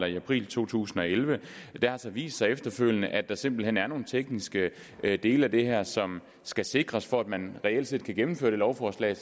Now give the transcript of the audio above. i april to tusind og elleve det har så vist sig efterfølgende at der simpelt hen er nogle tekniske dele af det her som skal sikres for at man reelt set kan gennemføre det lovforslag